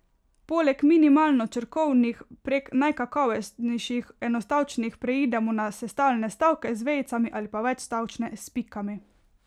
Poleg minimalno črkovnih prek najkakovostnejših enostavčnih preidemo na sestavljene stavke, z vejicami, ali pa večstavčne, s pikami.